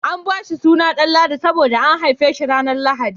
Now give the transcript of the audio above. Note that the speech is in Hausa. An bashi suna Danladi saboda an haife shi ranar lahadi